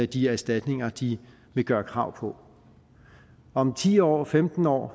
de erstatninger de vil gøre krav på om ti år om femten år